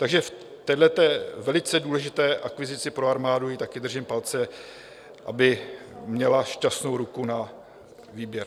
Takže v téhleté velice důležité akvizici pro armádu jí také držím palce, aby měla šťastnou ruku na výběr.